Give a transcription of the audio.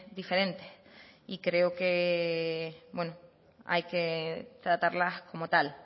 diferentes y hay que tratarlas como tal